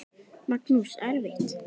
Magnús: Erfitt?